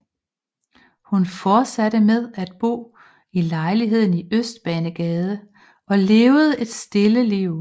Hun fortsatte med at bo i lejligheden i Østbanegade og levede et stille liv